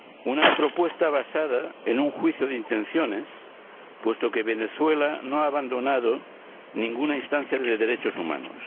una propuesta basada en un juicio de intenciones, puesto que Venezuela no ha abandonado ninguna instancia de derechos humanos